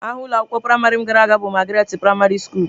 Aha ụlọ akwụkwọ praịmarị m gara bụ Magaratị praịmarị skulu.